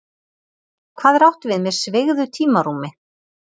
Hvað er átt við með sveigðu tímarúmi?